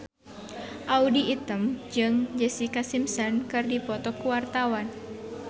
Audy Item jeung Jessica Simpson keur dipoto ku wartawan